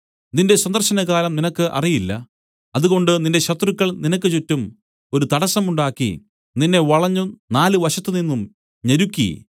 നിന്റെ സന്ദർശനകാലം നിനക്ക് അറിയില്ല അതുകൊണ്ട് നിന്റെ ശത്രുക്കൾ നിനക്ക് ചുറ്റും ഒരു തടസ്സം ഉണ്ടാക്കി നിന്നെ വളഞ്ഞു നാല് വശത്ത് നിന്നും ഞെരുക്കി